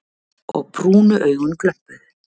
Og brúnu augun glömpuðu.